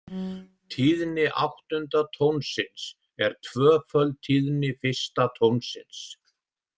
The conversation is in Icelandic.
Tíðni áttunda tónsins er tvöföld tíðni fyrsta tónsins.